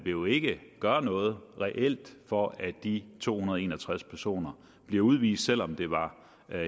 jo ikke gøre noget reelt for at de to hundrede og en og tres personer bliver udvist selv om det var